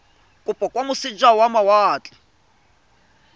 kopo kwa moseja wa mawatle